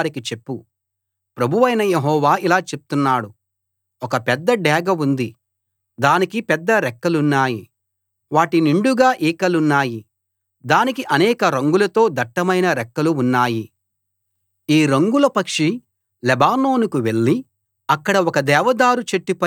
ప్రభువైన యెహోవా ఇలా చెప్తున్నాడు ఒక పెద్ద డేగ ఉంది దానికి పెద్ద రెక్కలున్నాయి వాటి నిండుగా ఈకలున్నాయి దానికి అనేక రంగులతో దట్టమైన రెక్కలు ఉన్నాయి ఈ రంగుల పక్షి లెబానోనుకి వెళ్ళి అక్కడ ఒక దేవదారు చెట్టుపై వాలింది